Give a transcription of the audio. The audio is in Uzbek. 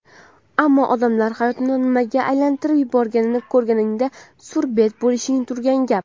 ammo odamlar hayotni nimaga aylantirib yuborganini ko‘rganingda surbet bo‘lishing turgan gap.